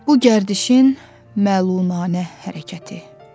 Bu gərdişin məlunane hərəkəti.